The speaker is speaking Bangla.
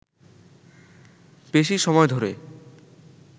বেশি সময় ধরে